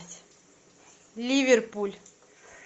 ливерпуль